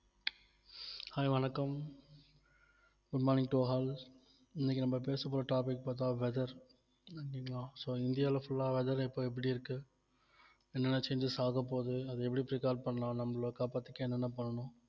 hi வணக்கம் good morning to all இன்னைக்கு நம்ம பேசப்போற topic பார்த்தா weather so இந்தியாவுல full ஆ weather இப்போ எப்படி இருக்கு என்னென்ன changes ஆகப்போது அது எப்படி prepare பண்ணலாம் நம்மள காப்பாத்திக்க என்னென்ன பண்ணணும்